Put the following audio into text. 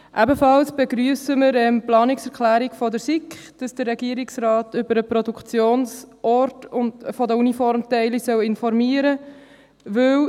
Wir begrüssen ebenfalls die Planungserklärung der SiK, wonach der Regierungsrat über den Produktionsort der Uniformteile informieren soll.